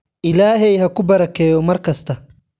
Ilaahay haku barakeeyo markasta.